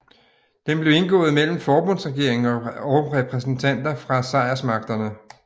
Den blev indgået mellem forbundsregeringen og repræsentanter fra sejrsmagterne